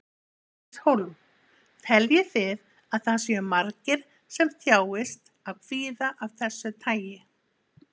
Bryndís Hólm: Teljið þið að það séu margir sem þjáist af kvíða af þessu tagi?